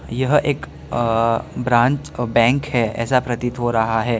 यह एक अ ब्रांच और बैंक है ऐसा प्रतीत हो रहा है।